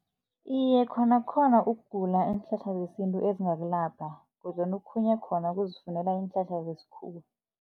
Iye, khona khona ukugula iinhlahla zesintu ezingakwelapha kodwana okhunye khona ukuzifundela iinhlahla zesikhuwa.